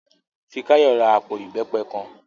Fikáyọ̀ ra àpò ìbẹ́pẹ kan